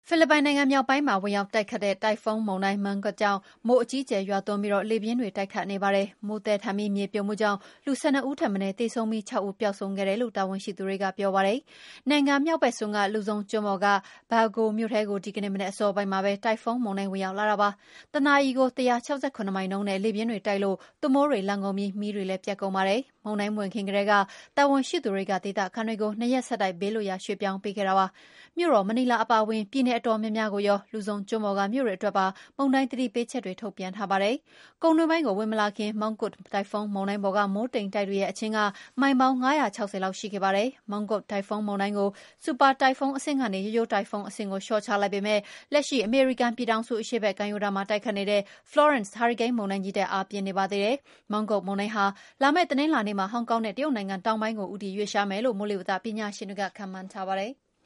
ဖိလစ်ပိုင် မြောက်ပိုင်းမှာ ဝင်ရောက်တိုက်ခတ်ခဲ့တဲ့ တိုင်ဖွန်းမုန်တိုင်း Mangkhut ကြောင့် မိုးအကြီးအကျယ်ရွာသွန်းပြီး လေပြင်းတွေ တိုက်ခတ်နေပါတယ်။ မိုးသည်းထန်ပြီး မြေပြိုမှုကြောင့် လူ ၁၂ ဦးထက်မနည်းသေဆုံးပြီး ၆ ဦးပျောက်ဆုံးခဲ့တယ်လို့ တာဝန်ရှိသူတွေကပြောပါတယ်။ နိုင်ငံမြောက်ဘက်စွန်း လူဇုံကျွန်းပေါ်က Baggao မြို့ထဲကို ဒီကနေ့မနက်အစောပိုင်းမှာပဲ တိုင်ဖွန်းမုန်တိုင်းဝင်ရောက်လာတာပါ။ တနာရီ ၁၆၇ မိုင်နှုန်းနဲ့ လေပြင်းတွေတိုက်လို့ သွပ်မိုးတွေလှန်ကုန်ပြီး မီးတွေလည်း ပြတ်ကုန်ပါတယ်။ မုန်တိုင်းမဝင်ခင်ကတည်းက တာဝန်ရှိသူတွေက ဒေသခံတွေကို ၂ ရက်ဆက်တိုက် ဘေးလွတ်ရာေ ရွှေ့ပြောင်းပေးခဲ့ပါတယ်။ မြို့တော်မနီလာအပါအဝင် ပြည်နည်အတော်များများကိုရော လူဇုံကျွန်းပေါ်က မြို့တွေအတွက်ပါ မုန်တိုင်းသတိပေးချက်တွေ ထုတ်ပြန်ထားပါတယ်။ ကုန်းတွင်းပိုင်းကို ဝင်မလာခင် Mangkhut တိုင်ဖွန်းမုန်တိုင်းပေါ်က မိုးတိမ်တိုက်တွေရဲ့ အချင်းက မိုင်ပေါင်း ၅၆၀ လောက်ရှိခဲ့ပါတယ်။ Mangkhut တိုင်ဖွန်းမုန်တိုင်းကို ဆူပါ တိုင်ဖွန်းအဆင့်ကနေ ရိုးရိုးတိုင်ဖွန်း အဆင့်ကိုလျော့ချလိုက်ပေမယ့် လက်ရှိအမေရိကန်ပြည်ထောင်စု အရှေ့ဘက် ကမ်းရိုးတမ်းမှာ တိုက်ခတ်နေတဲ့ Florance မုန်တိုင်းကြီးထက် အားပြင်းနေပါသေးတယ်။ Mangkhut မုန်တိုင်းဟာ လာမယ့်တနင်္လာနေ့မှာ ဟောင်ကောင်နဲ့ တရုတ်နိုင်ငံတောင်ပိုင်းကို ဦးတည်ရွှေ့လျားသွားမယ်လို့ မိုးလေဝသပညာရှင်တွေက ခန့်မှန်းထားပါတယ်။